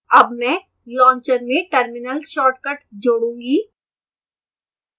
add मैं launcher में terminal shortcut जोडूँगा